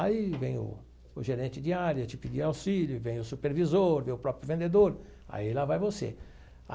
Aí vem o o gerente de área, te pedir auxílio, vem o supervisor, vem o próprio vendedor, aí lá vai você.